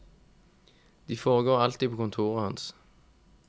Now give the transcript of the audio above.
De foregår alltid på kontoret hans.